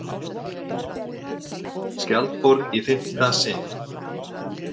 Skjaldborg í fimmta sinn